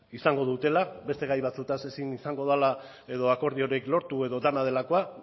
izango dutela beste gai batzuez ezin izango dela edo akordiorik lortu edo dena delakoa